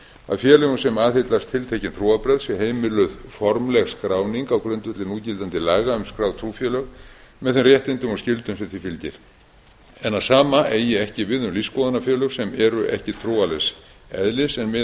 að félögum sem aðhyllast tiltekin trúarbrögð sé heimiluð formleg skráning á grundvelli núgildandi laga um skráð trúfélög með þeim réttindum og skyldum sem því fylgir en að sama eigi ekki við um lífsskoðunarfélög sem eru ekki trúarlegs eðlis en miða